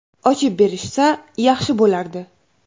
Ochib berishsa yaxshi bo‘lardi.